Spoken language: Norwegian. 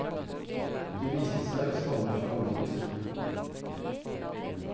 De viste seg å stamme fra mammuter.